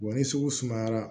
Wa ni sugu sumayara